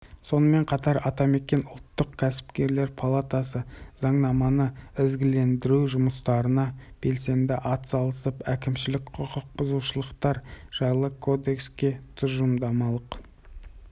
сонымен қатар атамекен ұлттық кәсіпкерлер палатасы заңнаманы ізгілендіру жұмыстарына белсенді атсалысып әкімшілік құқықбұзушылықтар жайлы кодекске тұжырымдамалық